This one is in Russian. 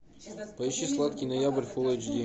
поищи сладкий ноябрь фулл эйч ди